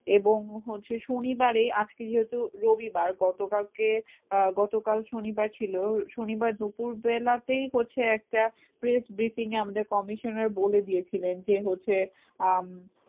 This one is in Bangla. এবং হচ্ছে শনিবারে আজকে যেহেতু রবিবার গতকালকে আহ গতকাল শনিবার ছিল শনিবার দুপুরবেলাতেই হচ্ছে একটা press briefing এ আমাদের commissioner বলেদিয়েছিলেন যে হচ্ছে আহ